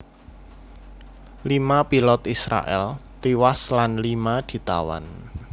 Lima pilot Israèl tiwas lan lima ditawan